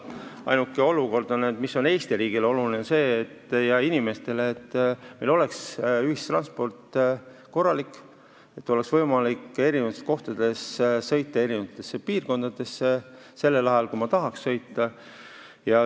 Ainus, mis on Eesti riigile ja inimestele oluline, on see, et oleks korralik ühistransport, et oleks võimalik sõita erinevatesse kohtadesse, erinevatesse piirkondadesse just sellel ajal, kui inimesed tahavad sõita.